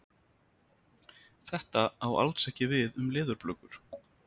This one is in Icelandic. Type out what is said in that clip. Þetta á alls ekki við um leðurblökur.